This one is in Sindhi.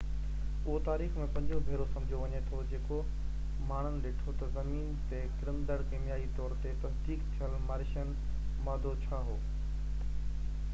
اهو تاريخ ۾ پنجون ڀيرو سمجهو وڃي ٿو جيڪو ماڻهن ڏٺو ته زمين تي ڪرندڙ ڪيميائي طور تي تصديق ٿيل مارشين مادو ڇا هو